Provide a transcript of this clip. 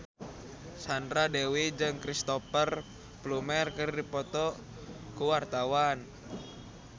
Sandra Dewi jeung Cristhoper Plumer keur dipoto ku wartawan